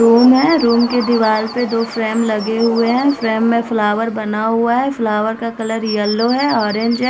Room है room के दीवार पे दो फ्रेम लगे हुए हैं फ्रेम में फ्लावर बना हुआ है फ्लावर का कलर येलो है ऑरेंज है।